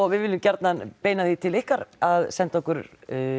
við viljum gjarnan beina því til ykkar að senda okkur